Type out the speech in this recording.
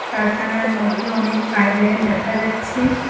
কারখানার মধ্যে অনেক পাইব লাইন দেখা যাচ্ছে।